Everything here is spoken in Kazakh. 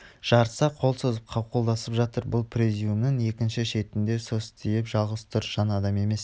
жарыса қол созып қауқылдасып жатыр бұл президиумының екінші шетінде состиып жалғыз тұр жан адам емес